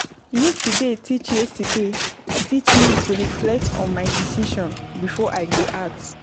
Yesterday teach Yesterday teach me to reflect on my decisions before I go act.